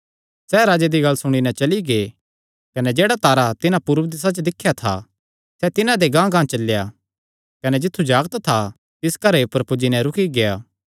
सैह़ राजे दी गल्ल सुणी नैं चली गै कने जेह्ड़ा तारा तिन्हां पूरब दिसा च दिख्या था सैह़ तिन्हां दे गांहगांह चलेया कने जित्थु जागत था तिस घरे ऊपर पुज्जी नैं रुकी गेआ